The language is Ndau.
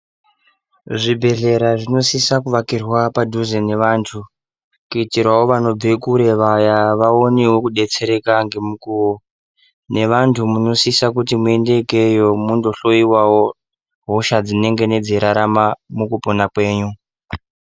Zvibhedhleya zvinosisa kuvakirwa padhuze nevantu kuitirawo vanobve kure vaya waonevo kudetsereka ngemukuvo. Nevantu munosise kuenda ikweyo munohloiwavo hosha dzinenge dzeirarama mukupona kwenyu.